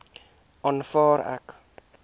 aanvaar ek